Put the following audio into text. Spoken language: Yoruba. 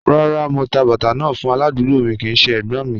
Rárá, mò tà bàtà náà fún aládùgbò mi kìí ṣẹ ẹ̀gbọ́́̀n mi.